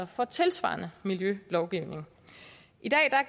for tilsvarende miljølovgivning i dag